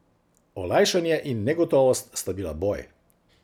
Olajšanje in negotovost sta bila boj.